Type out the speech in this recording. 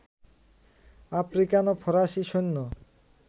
African ও ফরাসী সৈন্য